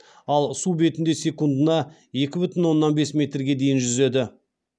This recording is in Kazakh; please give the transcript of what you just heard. ал су бетінде секундына екі бүтін оннан бес метрге дейін жүзеді